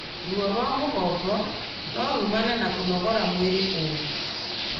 Ruo rwa mũgongo norumane na kũnogora mwĩrĩ ũru